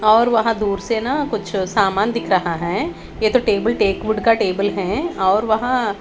और वहां दूर से ना कुछ सामान दिख रहा है ये तो टेबल टेक वुड का टेबल है और वहां--